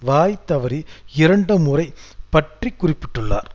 வாய் தவறி இரண்டு முறை பற்றி குறிப்பிட்டுள்ளார்